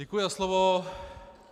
Děkuji za slovo.